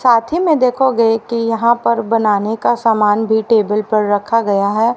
साथ ही में देखोगे कि यहां पर बनाने का सामान भी टेबल पर रखा गया है।